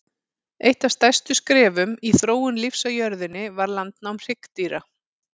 Eitt af stærstu skrefum í þróun lífs á jörðunni var landnám hryggdýra.